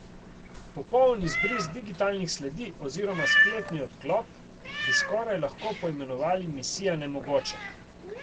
Popoln izbris digitalnih sledi oziroma spletni odklop bi skoraj lahko poimenovali misija nemogoče.